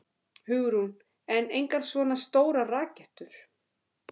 Hugrún: En engar svona stórar rakettur?